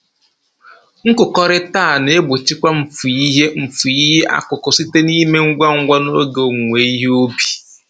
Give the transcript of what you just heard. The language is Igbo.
Nkụkọrịta a na-egbochikwa mfu ihe mfu ihe akụkụ site na-ime ngwa ngwa n'oge owuwe ihe ubi